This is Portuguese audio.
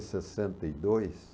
sessenta e dois.